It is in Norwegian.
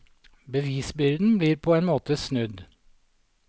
Bevisbyrden blir på en måte snudd.